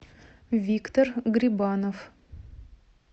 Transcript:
виктор грибанов